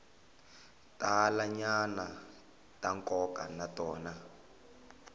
talanyana ta nkoka na tona